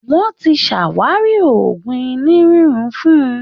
Wọ́n ti ṣàwárí Òògùn inú rírún fún